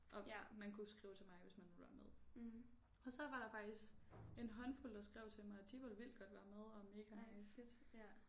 Og man kunne skrive til mig hvis man ville være med og så var der faktisk en håndfuld der skrev til mig at de ville vildt godt være med og mega nice